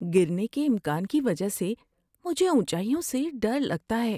گرنے کے امکان کی وجہ سے مجھے اونچائیوں سے ڈر لگتا ہے۔